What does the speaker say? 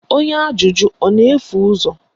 Onye ajụjụ ọ na-efu ụzọ?